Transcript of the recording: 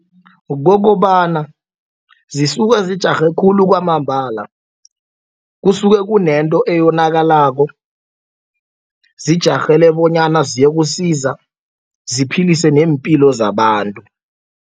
Kukokobana zisuka zijarhe khulu kwamambala. Kusuke kunento eyonakalako zijarhele bonyana ziyokusiza ziphilise nempilo zabantu.